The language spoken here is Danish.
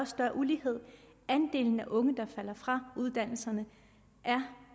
større ulighed at andelen af unge der falder fra uddannelserne